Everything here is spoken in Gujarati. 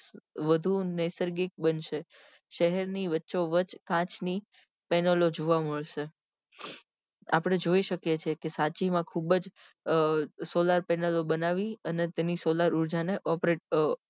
વધુ નૈસર્ગિક બનશે શહેર ની વચ્ચો વચ કાચ ની panel ઓ જોવા મળશે આપડે જોઈ શકીએ છીએ સાંચી માં ખુબજ solar panel ઓ બનાવી અને તેની solar ઉર્જા ને operate અ